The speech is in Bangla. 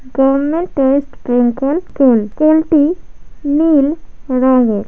পেনকল পোল পোল টি নীল --রঙের।